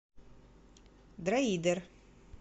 дроидер